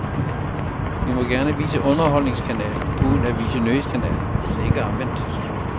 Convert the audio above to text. Vi må gerne vise underholdningskanalen uden at vise nyhedskanalen, men ikke omvendt.